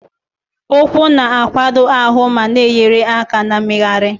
Ụkwụ na-akwado ahụ ma na-enyere aka na mmegharị.